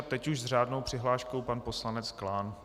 A teď už s řádnou přihláškou pan poslanec Klán.